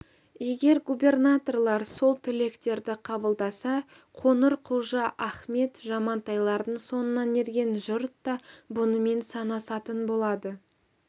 егер губернаторлар сол тілектерді қабылдаса қоңырқұлжа ахмет жамантайлардың соңынан ерген жұрт та бұнымен санасатын болады